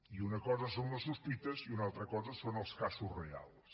i una cosa són les sospites i una altra cosa són els casos reals